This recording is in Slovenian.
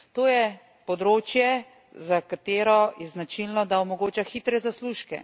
To je področje, za katero je značilno, da omogoča hitre zaslužke.